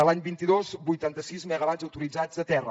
l’any vint dos vuitanta sis megawatts autoritzats a terra